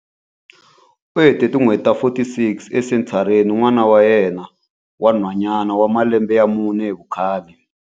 U hete tin'hweti ta 46 esenthareni ni n'wana wa yena wa nhwanyana wa malembe ya mune hi vukhale.